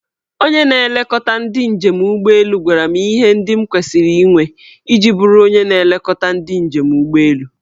Onye na-elekọta ndị njem ụgbọelu gwara m ihe ndị m kwesiri inwe iji bụrụ onye na-elekọta ndị njem ụgbọelu.